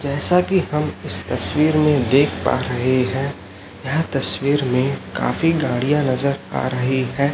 जैसा कि हम इस तस्वीर में देख पा रहे हैं यह तस्वीर में काफी गाड़ियां नजर आ रही है।